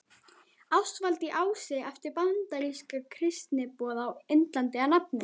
Ástvaldi í Ási eftir bandarískan kristniboða á Indlandi að nafni